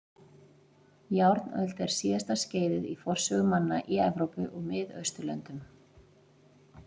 Járnöld er síðasta skeiðið í forsögu manna í Evrópu og Miðausturlöndum.